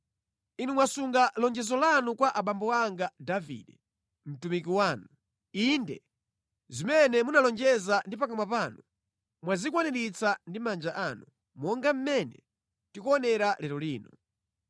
Inu mwasunga lonjezo lanu kwa abambo anga Davide, mtumiki wanu. Inde zimene munalonjeza ndi pakamwa panu, mwazikwaniritsa ndi manja anu monga mmene tikuonera lero lino.